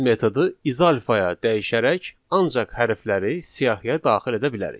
Biz metodu izalfaya dəyişərək ancaq hərfləri siyahıya daxil edə bilərik.